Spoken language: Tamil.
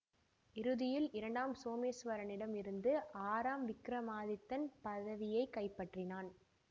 இறுதியில் இரண்டாம் சோமேசுவரனிடம் இருந்து ஆறாம் விக்ரமாதித்தன் பதவியை கைப்பற்றினானன்